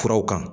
Furaw kan